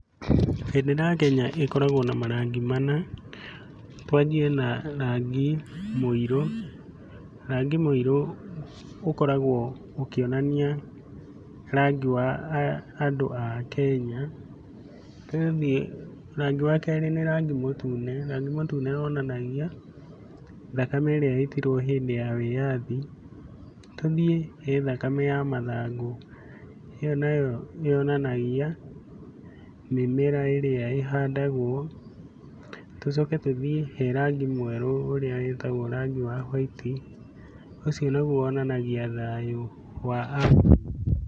Bendera ya Kenya ĩkoragwo na marangi mana. Twanjie na rangi mũirũ. Rangi mũirũ ũkoragwo ũkĩonania rangi wa andũ a Kenya. Tũgathiĩ, rangi wa kerĩ nĩ rangi mũtune, Rangi mũtune wonanagia thakame ĩrĩa yaitirwo hĩndĩ ya wĩathi. Tuũthiĩ nĩ thakame ya mathangũ, ĩyo nayo yonanagia mĩmera ĩrĩa ĩhandagwo, tũcoke tũthiĩ he rangi mwerũ ũrĩa wĩtagwo rangi wa huaiti, ũcio naguo wonanagia thayũ wa a Kenya .